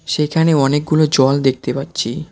সেইখানে অনেকগুলো জল দেখতে পারছি।